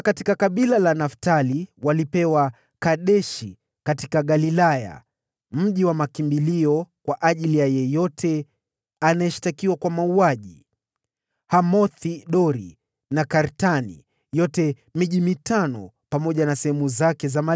Kutoka kabila la Naftali walipewa, Kedeshi katika Galilaya (mji wa makimbilio kwa ajili ya yeyote anayeshtakiwa kwa mauaji), Hamoth-Dori na Kartani, pamoja na sehemu zake za malisho, ilikuwa miji mitano.